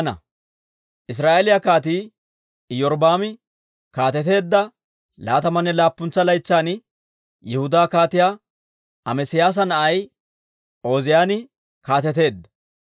Israa'eeliyaa Kaatii Iyorbbaami kaateteedda laatamanne laappuntsa laytsan, Yihudaa Kaatiyaa Amesiyaasa na'ay Ooziyaani kaateteedda.